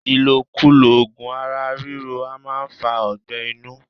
Ilokulo ogun ara riro a maa fa ọgbé̩ inu